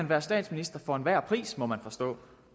være statsminister for enhver pris må man forstå